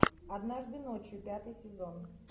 однажды ночью пятый сезон